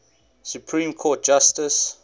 supreme court justice